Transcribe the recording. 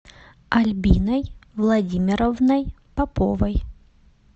альбиной владимировной поповой